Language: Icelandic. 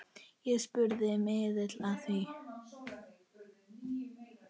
Ég spurði miðil að því.